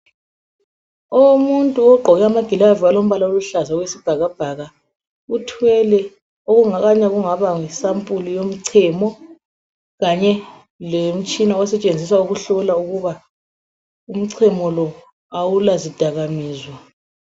Owomuntu ogqoke amaglavu alombala oluhlaza okwesibhakabhaka, uthwele okungakanya yisampuli yomchemo kanye lomtshina osetshenziswa ukuhlola ukuba umchemo lo awulazidakamizwa.